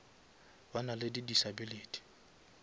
ba na le di disability